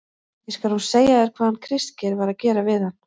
ÉG SKAL NÚ SEGJA ÞÉR HVAÐ HANN KRISTGEIR VAR AÐ GERA VIÐ HANN.